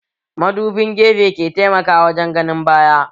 Madubin gefe ke taimaka wajen ganin baya